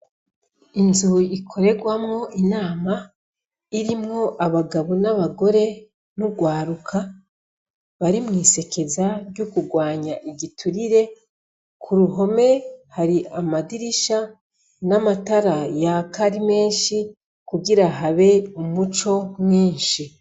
Inzu ikorerwamwo inama irimwo abagabo n'abagore n'urwaruka bari mw'isekeza ryo kurwanya igiturire, ku ruhome hari amadirisha n'amatara yaka ari menshi kugira habe umuco mwinshi.